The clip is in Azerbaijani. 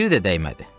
Biri də dəymədi.